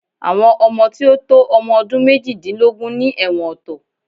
Àwọn ọmọ tí ò tó ọmọ ọdún méjìdínlógún ni ẹ̀wọ̀n ọ̀tọ̀